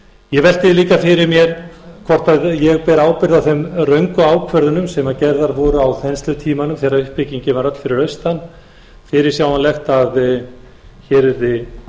ég velti því líka fyrir mér hvort ég beri ábyrgð á þeim röngu ákvörðunum sem gerðar voru á þenslutímanum þegar uppbyggingin var öll fyrir austan fyrirsjáanlegt að hér yrði